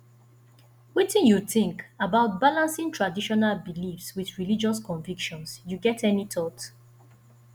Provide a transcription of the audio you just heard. wetin you think about balancing traditional beliefs with religious convictions you get any thought